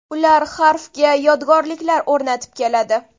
Ular harfga yodgorliklar o‘rnatib keladi.